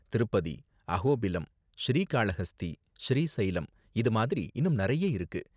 திருப்பதி, அஹோபிலம், ஸ்ரீகாளஹஸ்தி, ஸ்ரீசைலம் இது மாதிரி இன்னும் நறைய இருக்கு.